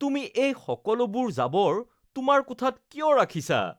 তুমি এই সকলোবোৰ জাবৰ তোমাৰ কোঠাত কিয় ৰাখিছা?